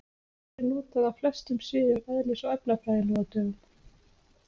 Hún er notuð á flestum sviðum eðlis- og efnafræði nú á dögum.